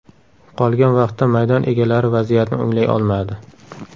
Qolgan vaqtda maydon egalari vaziyatni o‘nglay olmadi.